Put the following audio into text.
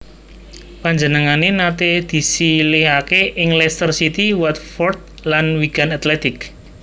Panjenengané naté disilihaké ing Leicester City Watford lan Wigan Athletic